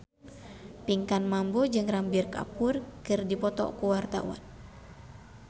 Pinkan Mambo jeung Ranbir Kapoor keur dipoto ku wartawan